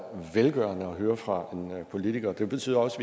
velgørende at høre fra en politiker det betyder også